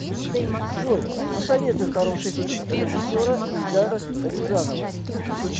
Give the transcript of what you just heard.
джой посоветуй хороший фильм режиссера эльдара рязанова